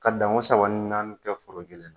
Ka danko saba ni naani kɛ foro kelen na